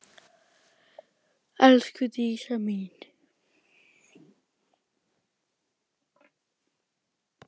Elsku Dísa mín.